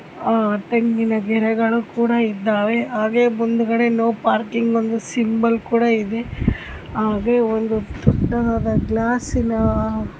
ತೆಂಗಿನ ಗಿಡಗಳು ಕೂಡ ಇದ್ದವೇ ಹಾಗೆ ಮುಂದ್ಗಡೆ ನೋ ಪಾರ್ಕಿಂಗ್ ಎಂಬ ಸಿಂಬಲ್ ಕೂಡ ಇದೆ ಹಾಗೆ ಒಂದು ಪುಟ್ಟನಾದ ಗ್ಲಾಸ್ --